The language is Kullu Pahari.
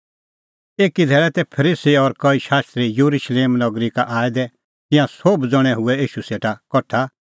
एकी धैल़ै तै फरीसी और कई शास्त्री येरुशलेम नगरी का आऐ दै तिंयां सोभ ज़ण्हैं हुऐ ईशू सेटा कठा